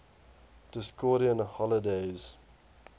discordian holidays